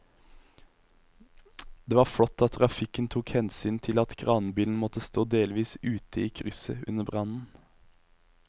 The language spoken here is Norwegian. Det var flott at trafikken tok hensyn til at kranbilen måtte stå delvis ute i krysset under brannen.